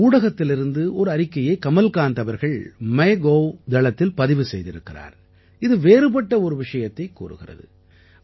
ஊடகத்திலிருந்து ஒரு அறிக்கையை கமல்காந்த் அவர்கள் மைகவ் தளத்தில் பதிவு செய்திருக்கிறார் இது வேறுபட்ட ஒரு விஷயத்தைக் கூறுகிறது